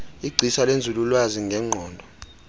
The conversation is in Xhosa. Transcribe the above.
igcisa lenzululwazi ngengqondo